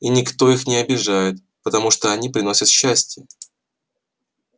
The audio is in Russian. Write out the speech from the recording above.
и никто их не обижает потому что они приносят счастье